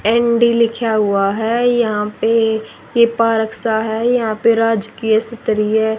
ND लिखा हुआ है यहां पे ये पारक सा है यहां पे राजकीय स्तरीय--